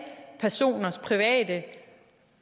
personers private